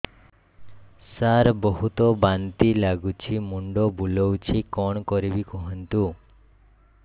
ସାର ବହୁତ ବାନ୍ତି ଲାଗୁଛି ମୁଣ୍ଡ ବୁଲୋଉଛି କଣ କରିବି କୁହନ୍ତୁ